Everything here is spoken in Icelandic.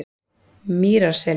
Mýrarseli